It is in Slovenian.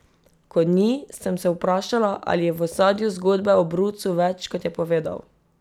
Ko ni, sem se vprašala, ali je v ozadju zgodbe o brucu več, kot je povedal.